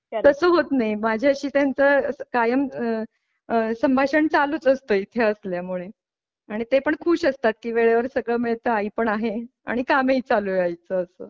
तस होत नाही माझ्याशी त्यांचा कायम आह आह संभाषण चालू असत इथे असल्यामुळे आणि ते पण खुश असतात कि वेळेवर सगळं मिळत आई पण आहे आणि काम ही चालू आहे आईच असं.